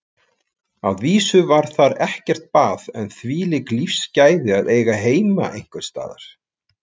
Að vísu var þar ekkert bað en þvílík lífsgæði að eiga heima einhvers staðar.